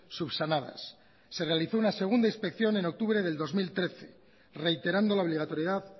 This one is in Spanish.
subsanadas se realizó una segunda inspección en octubre del dos mil trece reiterando la obligatoriedad